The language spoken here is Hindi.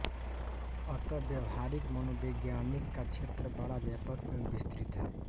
अतः व्यावहारिक मनोविज्ञान का क्षेत्र बड़ा व्यापक एवं विस्तृत है